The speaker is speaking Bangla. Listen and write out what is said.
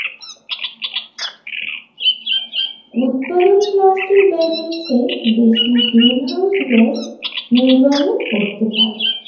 উৎপাদন প্লাস্টিকের ব্যবহারের চেয়ে বেশি গ্রিনহাউস গ্যাস নির্গমন করতে পারে